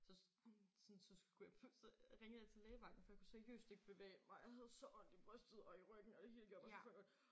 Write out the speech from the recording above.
Så sådan så skulle jeg så ringede jeg til lægevagten for jeg kunne seriøst ikke bevæge mig jeg havde så ondt i brystet og i ryggen og det hele gjorde bare så fucking ondt